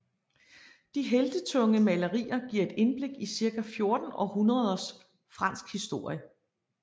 De heltetunge malerier giver et indblik i cirka 14 århundreders fransk historie